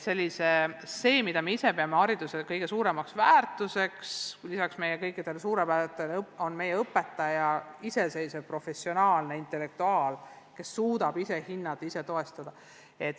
See, mida me ise peame oma hariduse kõige suuremaks väärtuseks, on see, et meie õpetaja on iseseisev professionaalne intellektuaal, kes suudab ise hinnata ja toetust pakkuda.